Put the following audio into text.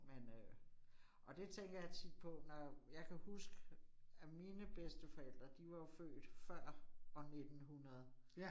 Men øh. Og det tænker jeg tit på, når jeg kan huske, at mine bedsteforældre, de var jo født før år 1900